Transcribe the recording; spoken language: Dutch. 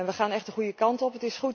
We gaan echt de goede kant op.